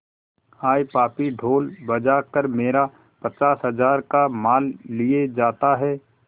हाय पापी ढोल बजा कर मेरा पचास हजार का माल लिए जाता है